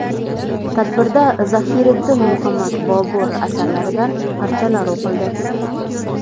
Tadbirda Zahiriddin Muhammad Bobur asarlaridan parchalar o‘qildi.